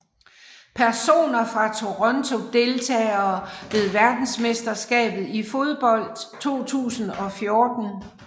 Personer fra Toronto Deltagere ved verdensmesterskabet i fodbold 2014